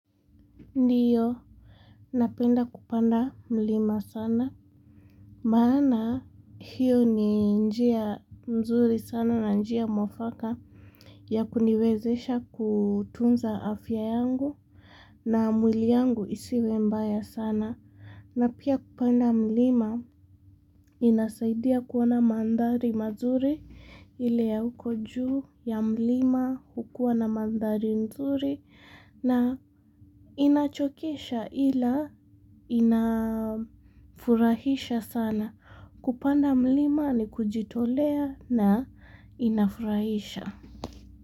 Ndio, napenda kupanda mlima sana, maana hiyo ni njia mzuri sana na njia mwafaka ya kuniwezesha kutunza afya yangu na mwili yangu isiwe mbaya sana. Na pia kupanda mlima inasaidia kuona mandhari mazuri ile ya huko juu ya mlima hukuwa na mandhari mzuri na inachokesha ila inafurahisha sana. Kupanda mlima ni kujitolea na inafurahisha.